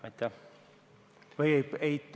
Aivar Sõerd, palun!